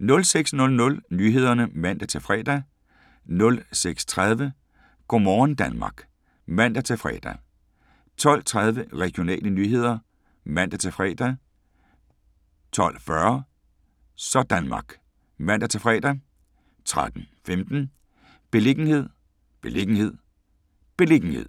06:00: Nyhederne (man-fre) 06:30: Go' morgen Danmark (man-fre) 12:30: Regionale nyheder (man-fre) 12:40: Sådanmark (man-fre) 13:15: Beliggenhed, beliggenhed, beliggenhed